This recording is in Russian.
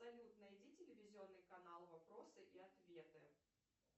салют найди телевизионный канал вопросы и ответы